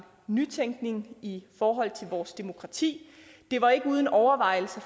nytænkning i forhold til vores demokrati det var ikke uden overvejelser